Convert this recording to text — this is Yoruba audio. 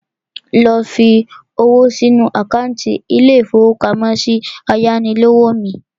Lọ fi owó sínu àkántì ilé-ìfowópamọ́sí ayánilówó mi